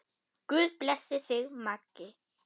Guð blessi þig, Maggi.